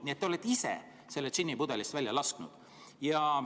Nii et te olete ise selle džinni pudelist välja lasknud.